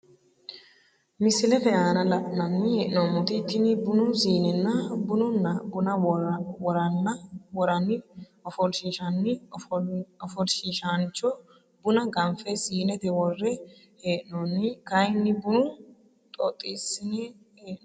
Misilete aana la`nani henomoti tini bunu siinena bununna buna woran ofolshishani ofolshishancho buna ganfe siinete wore hee`noni kayini bunu xoxisine hee`noni.